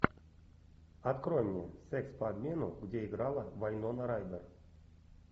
открой мне секс по обмену где играла вайнона райдер